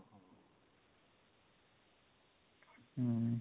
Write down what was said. ହୁଁ